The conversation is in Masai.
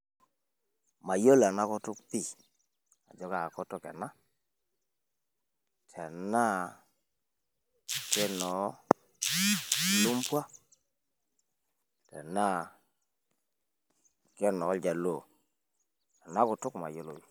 Mayiolo ena kutuk pii , ajo kaa kutuk ena, tenaa kenoo lumbwa tenaa kenoo ilnyaluo. Ena kutuk imayiolo.